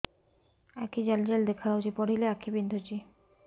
ଆଖି ଜାଲି ଜାଲି ଦେଖାଯାଉଛି ପଢିଲେ ଆଖି ବିନ୍ଧୁଛି